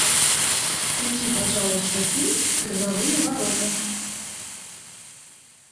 включи пожалуйста фильм грозовые ворота